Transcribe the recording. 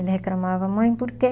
Ele reclamava, mãe, por quê?